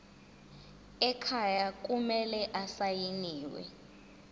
ekhaya kumele asayiniwe